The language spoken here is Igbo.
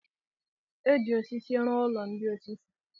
E ji osisi rụọ ụlọ ndị osisi.